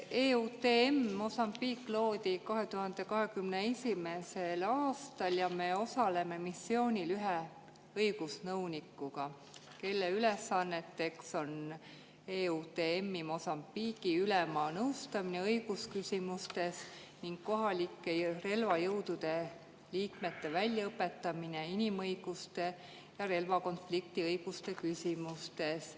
EUTM Mozambique loodi 2021. aastal ja me osaleme missioonil ühe õigusnõunikuga, kelle ülesanneteks on EUTM Mozambique'i ülema nõustamine õigusküsimustes ning kohalike relvajõudude liikmete väljaõpetamine inimõiguste ja relvakonflikti õiguste küsimustes.